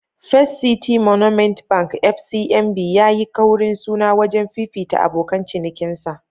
First City Monument Bank (FCMB) ya yi kaurin suna wajen fifita abokan cinikinsa.